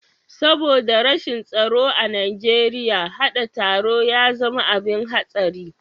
Saboda rashin tsaro a Najeriya, haɗa taro ya zama abin hatsari.